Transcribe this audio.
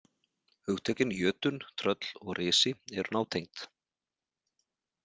Hugtökin jötunn, tröll og risi eru nátengd.